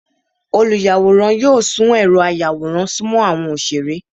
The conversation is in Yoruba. Olùyáworán yóò sùn erò àyàwórán sùmọ àwọn oṣere.